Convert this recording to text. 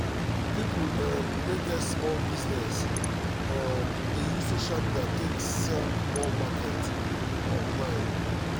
people um wey get small business um dey use social media take sell more market online